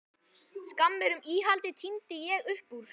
Skammir um íhaldið tíndi ég upp úr